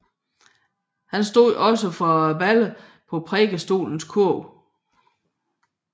Han stod også for billedener på prædikestolens kurv